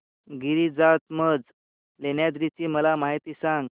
गिरिजात्मज लेण्याद्री ची मला माहिती सांग